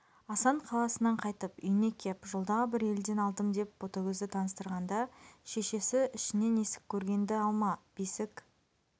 асан қаласынан қайтып үйіне кеп жолдағы бір елден алдым деп ботагөзді таныстырғанда шешесі ішінен есік көргенді алма бесік